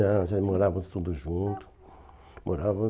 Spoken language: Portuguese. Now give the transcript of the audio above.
Não, já morávamos todos juntos. Morava